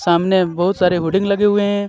सामने बोहोत सारे होडिंग लगे हुए हे.